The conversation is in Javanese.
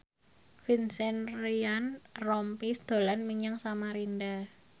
Vincent Ryan Rompies dolan menyang Samarinda